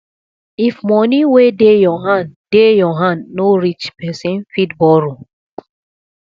if money wey dey your hand dey your hand no reach person fit borrow